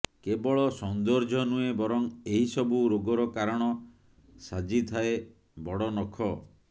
କେବଳ ସୌନ୍ଦର୍ଯ୍ୟ ନୁହେଁ ବରଂ ଏହିସବୁ ରୋଗର କାରଣ ସାଜିଥାଏ ବଡ଼ନଖ